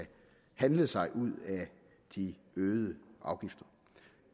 handle sig ud af de øgede afgifter